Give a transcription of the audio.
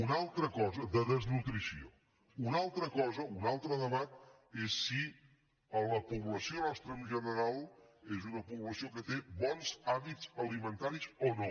una altra cosa un altre debat és si la població nostra en general és una població que té bons hàbits alimentaris o no